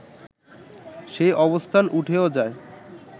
সেই অবস্থান উঠেও যায়